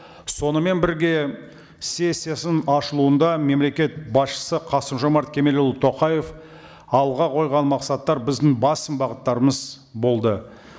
сонымен бірге сессиясының ашылуында мемлекет басшысы қасым жомарт кемелұлы тоқаев алға қойған мақсаттар біздің басым бағыттарымыз болды